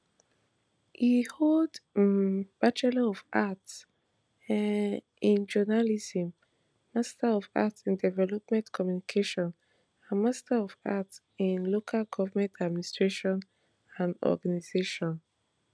e hold um bachelor of arts um in journalism master of arts in development communication and masters of arts in lcal government administration and organization